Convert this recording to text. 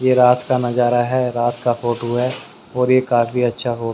ये रात का नजारा है रात का फोटो है और ये काफी अच्छा हो--